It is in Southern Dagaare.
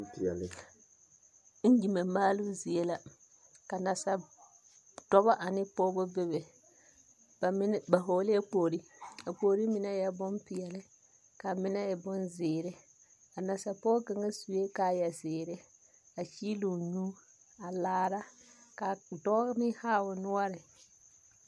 Iŋgyime maaloo zie la ka nasadɔbɔ ane pɔgbɔ bebe. Ba mine ba hɔglɛɛ kpogri a kpogri mine eɛ bompeɛle kaa mine meŋ e bonzeere. A nasapɔge kaŋa sue kaayazeere a kyeeloo nyuu a laa kaa dɔɔ meŋ haa no noɔre.